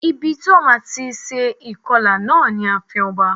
Ibi ti wón ti má a se ìkọlà náà ni ààfin oba